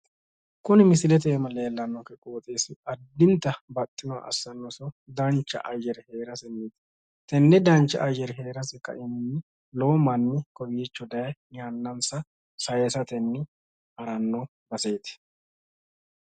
Kunni misilete iima leellannokehu qooxxeessi addintanni baxxinoha assannosihu dancha ayyere hee'rasenni tenne dancha ayyere hee'rase ka'ehunni lowo manni kowiicho daye yannansa saaysatenni haranno baseeti.